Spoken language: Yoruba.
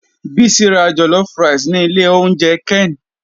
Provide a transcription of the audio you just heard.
Bisi ra jollof rice ni ilé oúnjẹ ken.